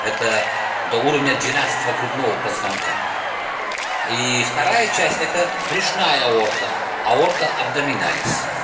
это до уровня двенадцатого грудного позвонка и вторая часть это брюшная аорта абдоминалис